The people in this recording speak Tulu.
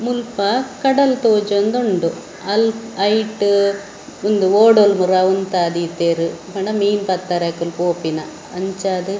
‌ ಮುಲ್ಪ ಕಡಲ್‌ತೋಜೋಂದು ಉಂಡು ಅಲ್ ಐಟ್‌‌ ಉಂದು ಓಡಲ್‌ ಪೂರಾ ಉಂತಾದೀತೇರ್‌ ಪಂಡ ಮೀನ್‌ ಪತ್ತೇರ ಅಕ್ಕ್‌ಲ್ ಪೋಪಿನ ಅಂಚ ಅದ್ ‌--